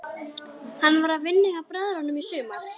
Hann var að vinna hjá bræðrunum í sumar.